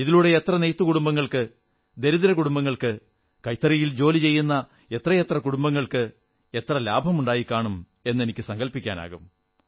ഇതിലൂടെ എത്ര നെയ്ത്തുകുടുംബങ്ങൾക്ക് ദരിദ്ര കുടുംബങ്ങൾക്ക് കൈത്തറിയിൽ ജോലി ചെയ്യുന്ന എത്രയെത്രകുടുംബങ്ങൾക്ക് എത്ര ലാഭമുണ്ടായിക്കാണും എന്ന് എനിക്ക് സങ്കല്പിക്കാനാകും